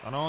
Ano.